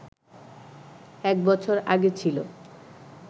এক বছর আগে ছিল